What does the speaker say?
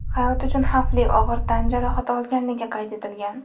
hayot uchun xavfli og‘ir tan jarohati olganligi qayd etilgan.